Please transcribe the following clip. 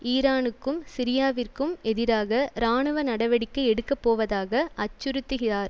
ஈரானுக்கும் சிரியாவிற்கும் எதிராக இராணுவ நடவடிக்கை எடுக்க போவதாக அச்சுறுத்துகிறார்